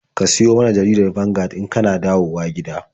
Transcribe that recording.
Ka siyo min jaridar Vanguard in ka na dawowa gida.